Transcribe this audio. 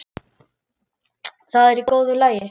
Það er í góðu lagi.